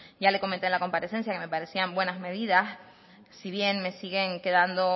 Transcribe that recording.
ya le comenté en la comparecencia que me parecían buenas medidas si bien me siguen quedando